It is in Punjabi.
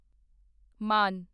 ਮਾਨ